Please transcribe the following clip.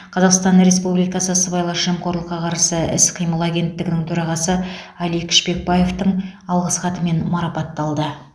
қазақстан республикасы сыбайлас жемқорлыққа қарсы іс қимыл агенттігінің төрағасы алик шпекбаевтың алғыс хатымен марапатталды